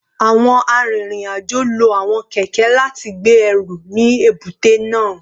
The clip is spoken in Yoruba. Awọn arinrin-ajo lo awọn kẹkẹ lati gbe ẹru ni ebute naa